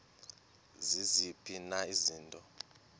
ziziphi na izinto